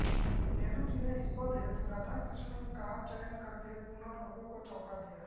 नेहरू जी ने इस पद हेतु राधाकृष्णन का चयन करके पुनः लोगों को चौंका दिया